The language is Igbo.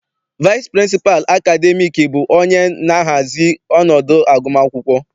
Vaịsị pịrịnsịpalụ akademiiki bụ onye na-ahazi ọnọdụ agụmakwụkwọ.